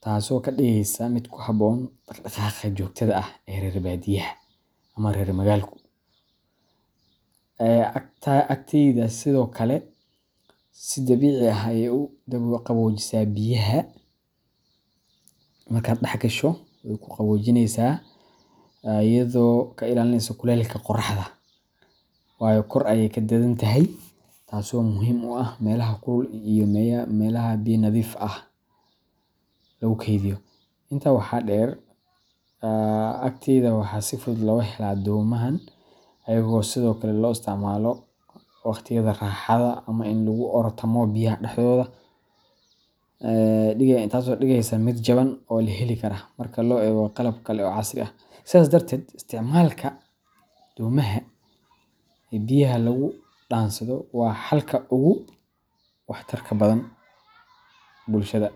taasoo ka dhigaysa mid ku habboon dhaq-dhaqaaqa joogtada ah ee reer badiyaha ama rer magalka. Agatada sidoo kale si dabiici ah ayay u qaboojisaa biyaha gudaha yaalla, iyadoo ka ilaalinaysa kulaylka qoraxda, taasoo muhiim u ah meelaha kulul ee biyo nadiif ah lagu kaydiyo. Intaa waxaa dheer, agteyda waxaa si fudud looga heli karaa deegaanka, taasoo ka dhigaysa mid jaban oo la heli karo marka loo eego qalab kale oo casri ah. Sidaas darteed, isticmaalka agatada domaha ee biyaha lagu dhaansado waa xalka ugu waxtarka badan bulshada.